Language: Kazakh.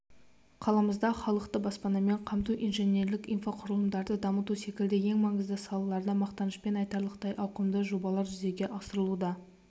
қаламызда халықты баспанамен қамту инженерлік-инфрақұрылымдарды дамыту секілді ең маңызды салаларда мақтанышпен айтарлықтай ауқымды жобалар жүзеге асырылуда